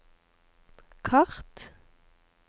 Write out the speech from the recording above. kart